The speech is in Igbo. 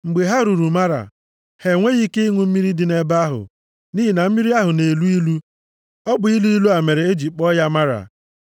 Mgbe ha ruru Mara, ha enweghị ike ịṅụ mmiri dị nʼebe ahụ, nʼihi na mmiri ahụ na-elu ilu. (Ọ bụ ilu ilu a mere e ji kpọọ ya Mara.)